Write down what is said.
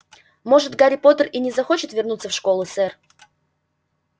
может гарри поттер и не захочет вернуться в школу сэр